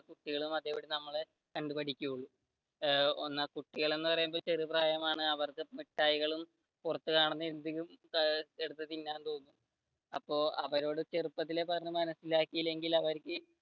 കുട്ടികളും അതേപോലെ നമ്മളെ കണ്ടു പഠിക്കൂ കുട്ടികൾ എന്ന് പറയുമ്പോൾ അവർക്ക് ചെറിയ പ്രായമാണ് അവർക്ക് മിട്ടായ്കൾ പുറത്തുകാണുന്ന എന്തും എടുത്ത് തിന്നാൻ തോന്നും അപ്പൊ അവരെ ചെറുപ്പത്തിലേ പറഞ്ഞു മനസിലാക്കിയില്ലെങ്കിൽ അവർക്ക്